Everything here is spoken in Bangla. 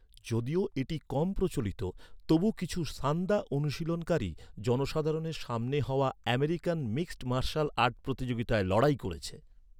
যদিও এটি কম প্রচলিত, তবু কিছু সান্দা অনুশীলনকারী জনসাধারণের সামনে হওয়া আমেরিকান মিক্সড মার্শাল আর্ট প্রতিযোগিতায় লড়াই করেছে।